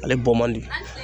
Ale bɔ man di